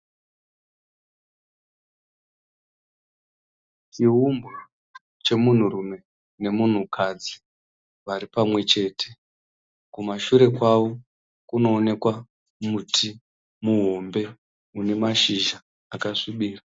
Chiumbwa chemunhu rume nemunhu kadzi vari pamwe chete. Kumashure kwavo kunooneka muti muhombe une mashizha akasvibira.